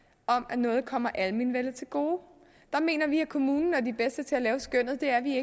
om at noget kommer almenvellet til gode der mener vi at kommunen er de bedste til at lave skønnet det er vi